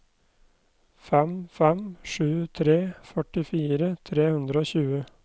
fem fem sju tre førtifire tre hundre og tjue